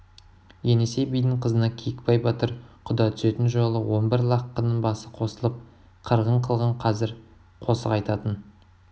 енесей бидің қызына киікбай батыр құда түсетін жолы он бір лаққының басы қосылып қырғын қылған қазір қосық айтатын